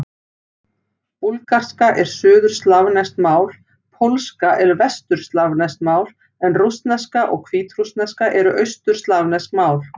Búlgarska er suðurslavneskt mál, pólska er vesturslavneskt mál en rússneska og hvítrússneska eru austurslavnesk mál.